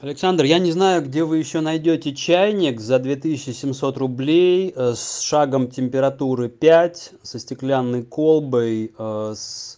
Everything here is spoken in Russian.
александр я не знаю где вы ещё найдёте чайник за две есмьсот рублей с шагом температуры пять со стеклянной колбой с